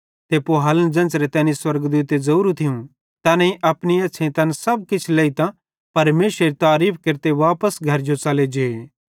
पुहालन ज़ेन्च़रे तैनी स्वर्गदूते ज़ोरू थियूं तैनेईं अपनी एछ़्छ़ेईं तैन सब किछ लेइतां परमेशरेरी तारीफ़ केरते वापस घरजो च़ले जे